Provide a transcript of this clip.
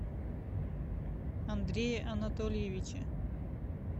андрее анатольевиче